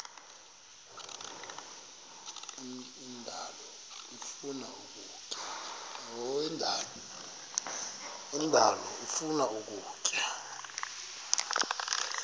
indalo ifuna ukutya